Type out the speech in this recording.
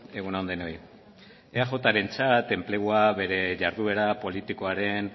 egun on denoi eajrentzat enplegua bere jarduera politikoaren